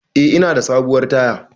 Eh ina da sabuwar taya